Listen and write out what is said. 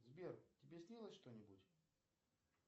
сбер тебе снилось что нибудь